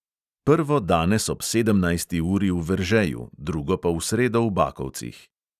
Prvo danes ob sedemnajsti uri v veržeju, drugo pa v sredo v bakovcih.